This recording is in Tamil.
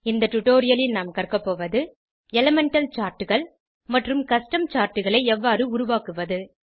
இந்த டுடோரியலில் நாம் கற்கபோவது எலிமெண்டல் Chartகள் மற்றும் கஸ்டம் Chartகளை எவ்வாறு உருவாக்குவது